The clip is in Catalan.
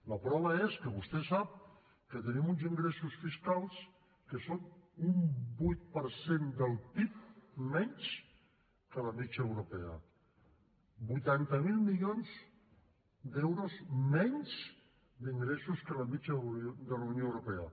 la prova és que vostè sap que tenim uns ingressos fiscals que són un vuit per cent del pib menys que la mitjana europea vuitanta miler milions d’euros menys d’ingressos que la mitjana de la unió europea